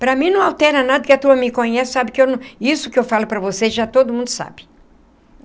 Para mim não altera nada, porque a turma me conhece, sabe que eu não... Isso que eu falo para vocês, já todo mundo sabe.